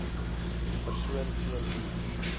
persoon teen wie